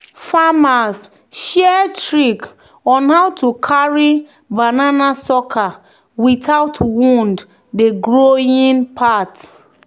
"farmers share trick on how to carry banana sucker without wound the growing part."